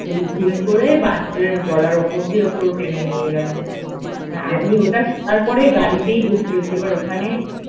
ওই ভুল করে বাছুরের গলার ওপর দিয়ে পুরো টেনে নিয়ে গেছে, মানে আমি ওটা শোনার পরে গাড়িতে বসে আছি এবার ওখানে